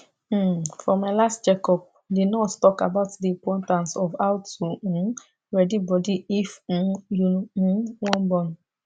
uhm for my last check up the nurse talk about the importance of how to um ready body if um you um wan born